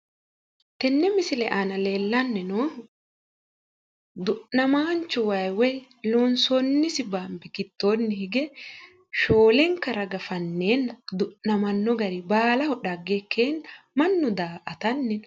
Tenne misile aana la'neemmohu du'namaanchu wayi loonsoonni gidoonni hige shoolenka raga fanneenna du'namanno gari baalaho dhagge ikkeenna mannu daa'atanni no.